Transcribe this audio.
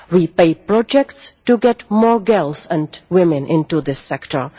We pay for projects to get more girls and women into this sector.